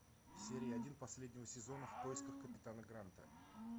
серия один последнего сезона в поисках капитана гранта